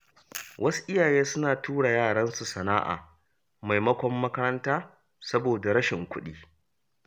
Wasu iyaye suna tura yaran su sana’a maimakon makaranta saboda rashin kuɗi.